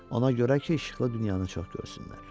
Ona görə ki, işıqlı dünyanı çox görsünlər.